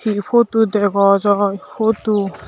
hi photo dega jaai photo.